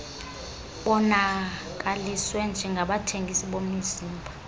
bonakaliswe njengabathengisi bemizimba